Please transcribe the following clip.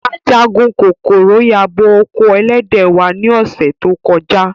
Ajagun kokoro yabo oko elede wa ni ose to koja.